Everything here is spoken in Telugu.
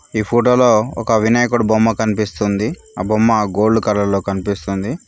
ఈ ఫోటో లో ఒక వినాయకుడు బొమ్మ కనిపిస్తుంది ఆ బొమ్మ గోల్డ్ కలర్ లో కనిపిస్తుంది